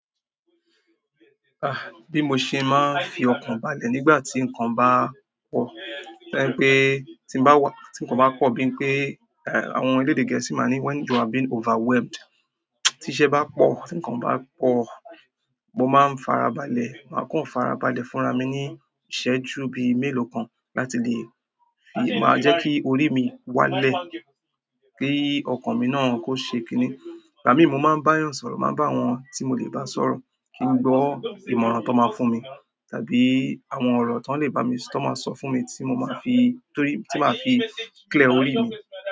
Ah, bí mo ṣe máa ń fi ọkàn balẹ̀ nígbà tí nǹkan bá pọ̀, to jẹ pé tí ń bá wà, tí nǹkan bá pọ̀, bí i pé, eh, àwọn elédè gẹ̀ẹ́sì máa ní "when you are being overwhelmed." Tí iṣẹ́ bá pọ̀, tí nǹkan bá pọ̀, mo máa ń farabalẹ̀. Máa kan farabalẹ̀ fúnra mi ní ìṣẹ́ ju bí i mélòó kan láti lè fi, máa jẹ́ kí orí mi wá lẹ̀ kí ọkàn mi náà kó ṣe kini. Ìgbà mi, mo máa ń bá ènìyàn sọ̀rọ̀, màá bá àwọn tí mo lè bá sọ̀rọ̀ kí n gbọ́ ìmọ̀ràn tó máa fún mi, tàbí àwọn ọ̀rọ̀ tó lè bá mi, tó máa sọ fún mi tí mo máa fi, torí tí màá fi clear orí mi.